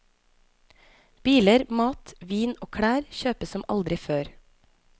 Biler, mat, vin og klær kjøpes som aldri før.